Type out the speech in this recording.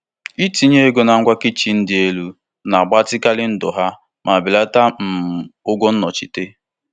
Nlekwasị anya um ụlọ ọrụ ahụ nwere na nka ngwaahịa pụrụ iche belatara nkwupụta akwụkwọ ikike site ruo na pasentị iri abụo kwa afọ.